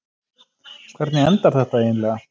Hvernig endar þetta eiginlega?